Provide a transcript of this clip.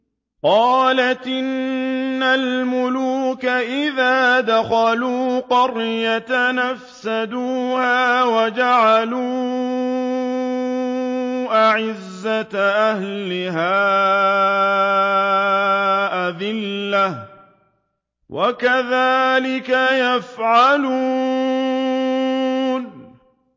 قَالَتْ إِنَّ الْمُلُوكَ إِذَا دَخَلُوا قَرْيَةً أَفْسَدُوهَا وَجَعَلُوا أَعِزَّةَ أَهْلِهَا أَذِلَّةً ۖ وَكَذَٰلِكَ يَفْعَلُونَ